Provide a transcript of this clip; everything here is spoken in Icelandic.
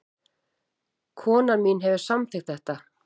Konan mín hefur samþykkt þetta